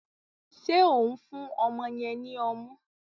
Ṣe o n fún ọmọ yen ní ọmu?